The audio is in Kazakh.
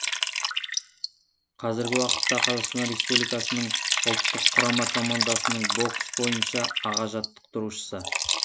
қазіргі уақытта қазақстан республикасының ұлттық құрама командасының бокс бойынша аға жаттықтырушысы